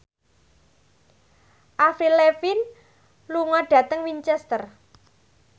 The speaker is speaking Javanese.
Avril Lavigne lunga dhateng Winchester